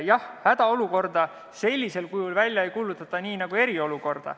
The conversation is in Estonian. Jah, hädaolukorda sellisel kujul nagu eriolukorda välja ei kuulutata.